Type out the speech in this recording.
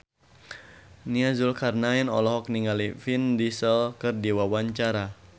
Nia Zulkarnaen olohok ningali Vin Diesel keur diwawancara